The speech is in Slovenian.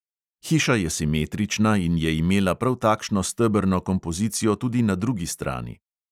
Hiša je simetrična in je imela prav takšno stebrno kompozicijo tudi na drugi strani.